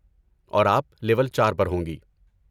اور آپ لیول چار پر ہوں گی